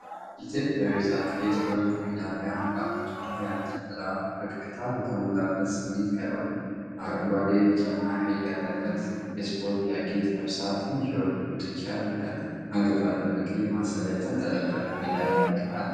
ኢትዮጵያዊቷ አትሌት ወርቅ ሜዳሊያ በአንገቷ ላይ አንጠልጥላ ፈገግታ በተሞላበት ስሜት ቀርባለች። አረንጓዴ፣ ቢጫና ቀይ ያለበትን የስፖርት ጃኬት ለብሳ ትንሽ የወርቅ ጉትቻ አድርጋለች። አንገቷ ላይ በቀይ ማሰሪያ የተንጠለጠለው ሜዳሊያ የወርቅ ነው።